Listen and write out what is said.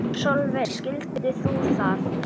Sólveig: Skilur þú það?